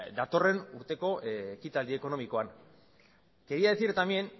datorren urteko ekitaldi ekonomikoan quería decir también